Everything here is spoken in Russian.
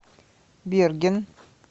берген